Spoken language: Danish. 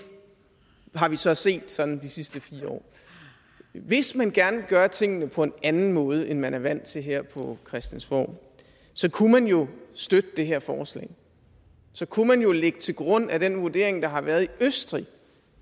har vi så set sådan de sidste fire år hvis man gerne vil gøre tingene på en anden måde end man er vant til her på christiansborg så kunne man jo støtte det her forslag så kunne man jo lægge til grund at den vurdering der har været i østrig